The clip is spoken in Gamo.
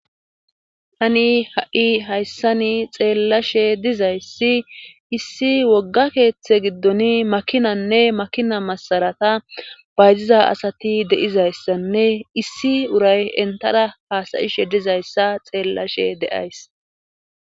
hani ha7i hayssani xeellashe dizayssi issi wogga keeththe giddon makinanne makina masarata bayziza asati deizayssanne issi uray entara haasayishe dizayssa xeellashe deays